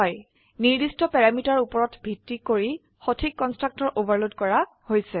নিৰ্দিষ্ট প্যাৰামিটাৰ উপৰত ভিত্তি কৰি সঠিক কন্সট্ৰাকটৰ ওভাৰলোড কৰা হৈছে